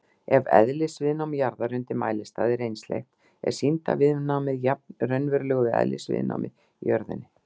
Ef eðlisviðnám jarðar undir mælistað er einsleitt er sýndarviðnámið jafnt raunverulegu eðlisviðnámi í jörðinni.